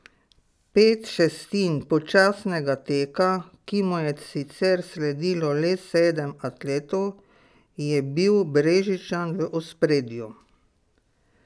Pet šestin počasnega teka, ki mu je sicer sledilo le sedem atletov, je bil Brežičan v ospredju.